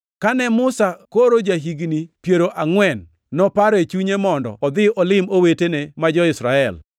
“Kane Musa koro ja-higni piero angʼwen, noparo e chunye mondo odhi olim owetene ma jo-Israel.